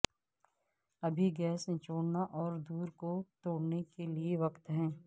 ابھی گیس نچوڑنا اور دور کو توڑنے کے لئے وقت ہے